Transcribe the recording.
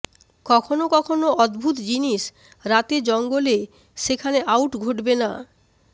কখনও কখনও অদ্ভুত জিনিস রাতে জঙ্গলে সেখানে আউট ঘটবে না